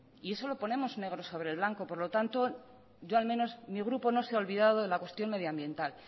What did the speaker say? y eso lo ponemos negro sobre blanco por lo tanto yo al menos mi grupo no se ha olvidado de la cuestión medioambiental